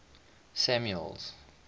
samuel's